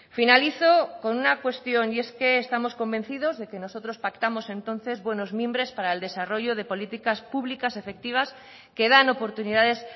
finalizo con una cuestión y es que estamos convencidos de que nosotros pactamos entonces buenos mimbres para el desarrollo de políticas públicas efectivas que dan oportunidades